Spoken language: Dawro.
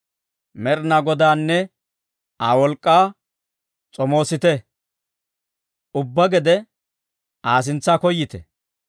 Med'inaa Godaanne Aa wolk'k'aa s'omoosite; ubbaa gede Aa sintsa koyite.